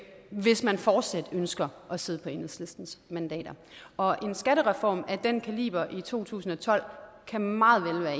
hvis man fortsat ønsker at sidde på enhedslistens mandater og en skattereform af en kaliber i to tusind og tolv kan meget vel være